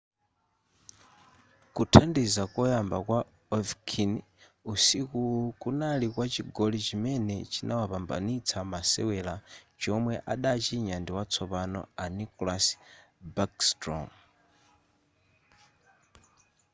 kuthandiza koyamba kwa ovechkin usikuwu kunali kwa chigoli chimene chinawapambanitsa masewera chomwe adachinya ndi watsopano a nicklas backstrom